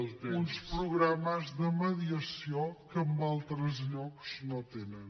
uns programes de mediació que en altres llocs no tenen